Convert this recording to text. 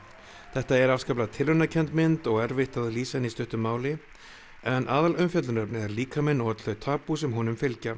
þetta er afskaplega mynd og erfitt að lýsa henni í stuttu máli en er líkaminn og öll þau tabú sem honum fylgja